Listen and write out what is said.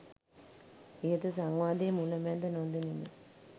ඉහත සංවාදයේ මුල මැද නොදනිමි.